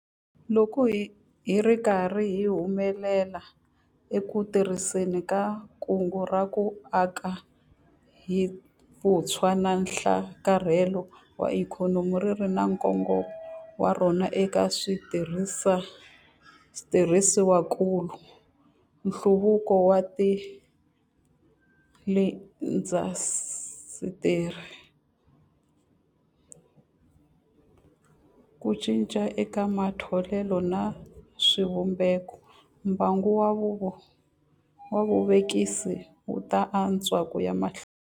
Loko hi ri karhi hi humelela eku tirhiseni ka Kungu ra ku Aka hi Vutshwa na Nhlakarhelo wa Ikhonomi - ri ri na nkongomo wa rona eka switirhisiwakulu, nhluvukiso wa tiindasitiri, ku cinca eka matholelo na swivumbeko - mbangu wa vuvekisi wu ta antswa ku ya emahlweni.